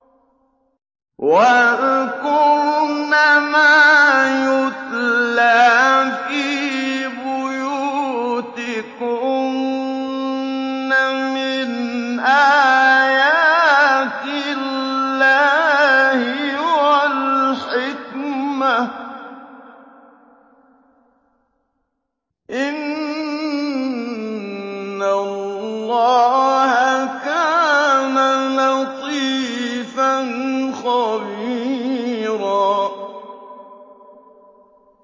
وَاذْكُرْنَ مَا يُتْلَىٰ فِي بُيُوتِكُنَّ مِنْ آيَاتِ اللَّهِ وَالْحِكْمَةِ ۚ إِنَّ اللَّهَ كَانَ لَطِيفًا خَبِيرًا